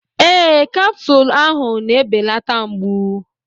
Ee, capsule ahụ na-ebelata mgbu.